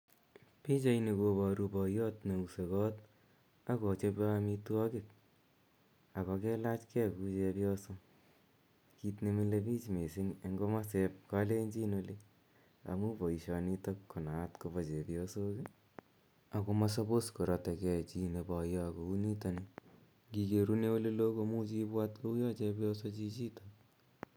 Pichaini koparu poyot ne use koot ak kochope amitwogik ak ko kelach gei kou chepyoso, kiit ne mile piich missing eng' komasep Kalenjin oli amu poishonitok ko naat ko pa chepyosok, ako ma suppose korate ge chi ne poyo kou nitani. Ngi kerune ole loo ko muchi ipwat kouya chepyoso chichitok.